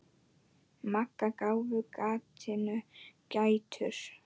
Magga gáfu gatinu gætur.